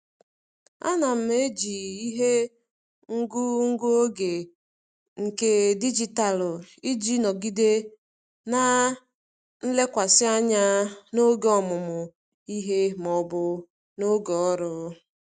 Ana m eji ihe ngụ ngụ oge nke dijitalụ iji nọgide na nlekwasị anya n'oge ọmụmụ ihe maọbụ n'oge ọrụ.